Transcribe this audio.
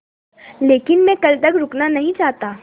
लेकिन मैं कल तक रुकना नहीं चाहता